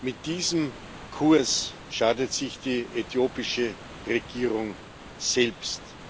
Mit diesem Kurs schadet sich die äthiopische Regierung selbst.